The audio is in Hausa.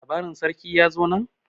labarin sarkin ya zo nan?